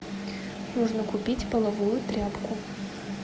нужно купить половую тряпку